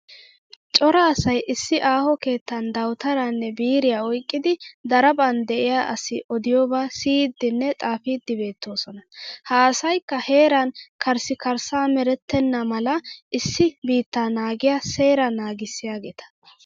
Cora asay issi aaho keettan dawutaraanne biiriya oyqqidi daraphphan de'iya asi odiyoobaa siyiiddine xaafiiddi beetoosona. Ha asayikka heran karssikarssamerettenna mala issi biittaa naagiya seeraa naagissiyageeta.